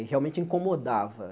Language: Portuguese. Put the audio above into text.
e realmente incomodava.